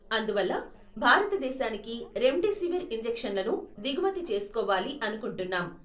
అందువల్ల, భారతదేశానికి రెమ్డెసివిర్ ఇంజెక్షన్లను దిగుమతి చేస్కోవాలి అనుకుంటున్నాం.